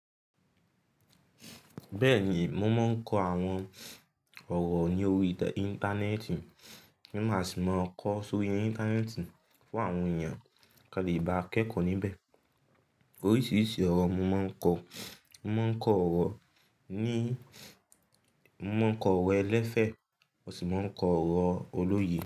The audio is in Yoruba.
Bẹ́ẹ̀ni, mo mo ń kọ àwọn ọ̀rọ̀ ní orí Íńtánẹ́ẹ̀tì. Mo máa sì máa kọ sórí ẹ Íńtánẹ́ẹ̀tì fún àwọn èèyàn kí wọ́n lè bá akẹ́kọ̀ọ́ níbẹ̀. Oríṣiríṣi ọ̀rọ̀ mo má ń kọ. Mo máa ń kọ ọ̀rọ̀ ẹlẹ́fẹ̀, mo sì máa ń kọ ọ̀rọ̀ olóye.